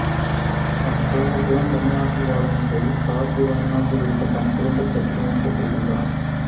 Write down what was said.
தன் குடும்பத்துடன் தமிழ்நாட்டில் வாழும் ஜெய் காசி வாரணாசியில் இருக்கும் தன் குடும்பச்சொத்தை மீட்கச் செல்கின்றார்